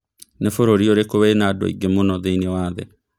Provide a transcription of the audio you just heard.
nĩ bũrũri ũrĩkũ wĩna andũ aĩge mũno thĩnĩ wa thĩ